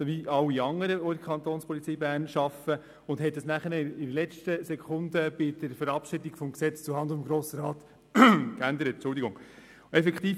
Dies wurde jedoch bei der Verabschiedung des Gesetzes zuhanden des Grossen Rates in letzter Sekunde geändert.